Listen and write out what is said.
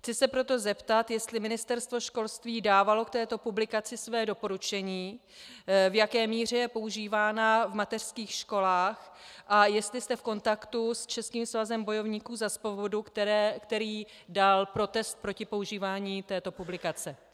Chci se proto zeptat, jestli Ministerstvo školství dávalo k této publikaci své doporučení, v jaké míře je používána v mateřských školách a jestli jste v kontaktu s Českým svazem bojovníků za svobodu, který dal protest proti používání této publikace.